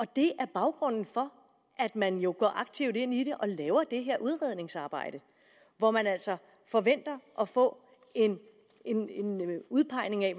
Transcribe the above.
det er baggrunden for at man går aktivt ind i det og laver det her udredningsarbejde hvor man altså forventer at få en udpegning af